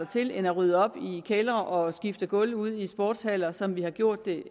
til end at rydde op i kældre og skifte gulve ud i sportshaller som vi har gjort det